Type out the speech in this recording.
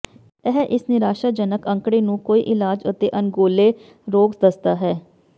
ਇਹ ਇਸ ਨਿਰਾਸ਼ਾਜਨਕ ਅੰਕੜੇ ਨੂੰ ਕੋਈ ਇਲਾਜ ਅਤੇ ਅਣਗੌਲੇ ਰੋਗ ਦੱਸਦਾ ਹੈ